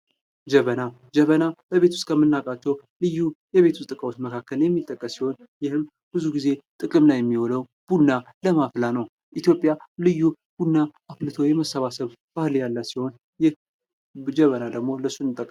ጀበና ፦ ጀበና በቤት ውስጥ ከምናቃቸው ልዩ የቤት ውስጥ እቃዎች መካከል የሚጠቀስ ሲሆን ይህም ብዙ ጊዜ ጥቅም ላይ የሚውል ቡና ለማፍላት ነው ። ኢትዮጵያ ልዩ ቡና አፍልቶ የመሰባሰብ ባህል ያላት ሲሆን ይህ ጀበና ደግሞ ለሱ እንጠቀምበታለን ።